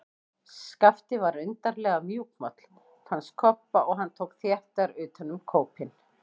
Skapti var undarlega mjúkmáll, fannst Kobba, og hann tók þéttar utan um kópinn.